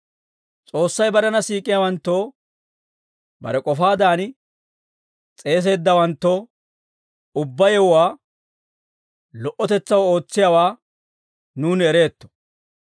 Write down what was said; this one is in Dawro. S'oossay barena siik'iyaawanttoo, bare k'ofaadan s'eeseeddawanttoo, ubbaa yewuwaa lo"otetsaw ootsiyaawaa nuuni ereetto.